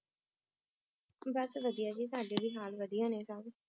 ਬਸ ਵਧੀਆ ਜੀ ਸਾਡੇ ਵੀ ਹਾਲ ਵਧੀਆ ਨੇ ਸਭ।